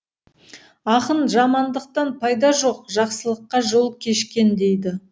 ақын жамандықтан пайда жоқ жақсылыққа жол кешкен дейді